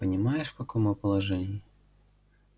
понимаешь в каком мы положении